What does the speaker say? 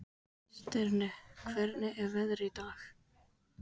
Stirnir, hvernig er veðrið í dag?